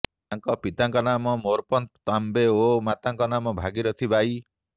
ତାଙ୍କ ପିତାଙ୍କ ନାମ ମୋରପନ୍ତ ତାମ୍ବେ ଓ ମାତାଙ୍କ ନାମ ଭାଗିରଥୀ ବାଈ